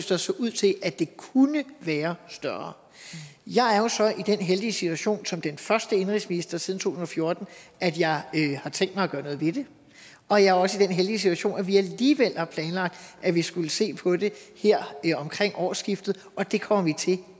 der så ud til at det kunne være større jeg er jo så i den heldige situation som den første indenrigsminister siden to tusind og fjorten at jeg har tænkt mig at gøre noget ved det og jeg er også i den heldige situation at vi alligevel har planlagt at vi skulle se på det her omkring årsskiftet og det kommer vi til